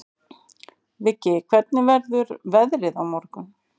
Viggi, hvernig verður veðrið á morgun?